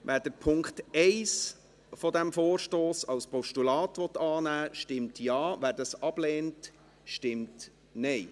Wer den Punkt 1 dieses Vorstosses als Postulat annehmen will, stimmt Ja, wer dies ablehnt, stimmt Nein.